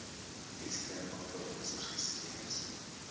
eastern orthodox christians